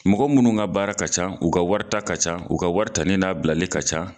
Mɔgɔ munnu ka baara ka ca, u ka wari ta ka ca, u ka wari tali n'a bilali ka ca